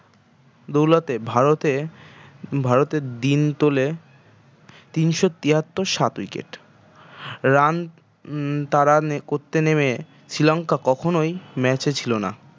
দৌলতে ভারতে ভারতের দিন তোলে তিনশ তিহাত্তর সাত wicket run তারা করতে নেমে শ্রীলঙ্কা কখনই match এ ছিল না।